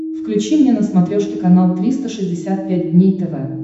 включи мне на смотрешке канал триста шестьдесят пять дней тв